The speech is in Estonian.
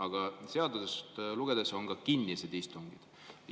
Ent seadust lugedes, et on ka kinnised istungid.